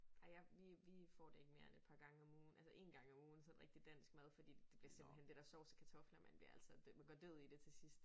Ej jeg vi vi får det ikke mere end et par gange om ugen altså én gang om ugen sådan rigtig dansk mad fordi det bliver simpelthen det der sovs og kartofler man bliver altså man går død i det til sidst